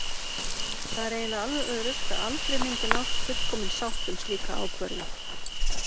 Það er eiginlega alveg öruggt að aldrei myndi nást fullkomin sátt um slíka ákvörðun.